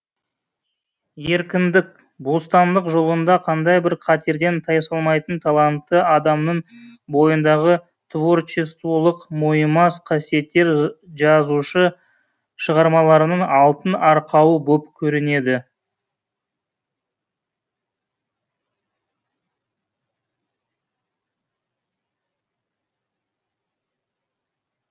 еркіндік бостандық жолында қандай бір қатерден тайсалмайтын талантты адамның бойындағы творчестволық мойымас қасиеттер жазушы шығармаларының алтын арқауы боп көрінеді